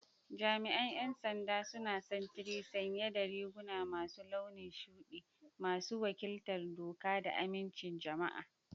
Jami'an 'yan sanda suna sintiri sanye da riguna masu launin shudi, masu wakiltar doka da amincin jama'a.